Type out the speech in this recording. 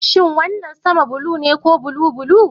Shin wannan sama blue ne ko blue blue?